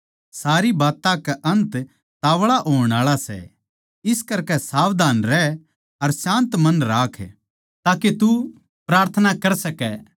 सारी बात्तां का अन्त ताव्ळा होणआळा सै इस करकै सावधान रह अर शान्त मन राख ताके तू प्रार्थना कर सकै